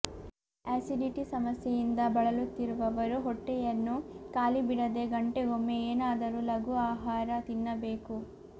acidity ಸಮಸ್ಯೆಯಿಂದ ಬಳಲುತ್ತಿರುವವರು ಹೊಟ್ಟೆಯನ್ನು ಖಾಲಿ ಬಿಡದೆ ಗಂಟೆಗೊಮ್ಮೆ ಏನಾದರೂ ಲಘು ಆಹಾರ ತಿನ್ನಬೇಕು